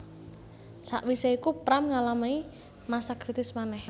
Sakwisé iku Pram ngalami masa kritis manèh